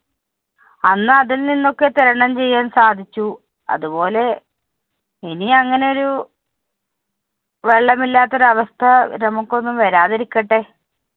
അന്ന് അതില്‍ നിന്നൊക്കെ ത്വരണം ചെയ്യാന്‍ സാധിച്ചു. അതുപോലെ ഇനി അങ്ങനെ ഒരു വെള്ളമില്ലാത്തൊരവസ്ഥ നമുക്കൊന്നും വരാതിരിക്കട്ടെ.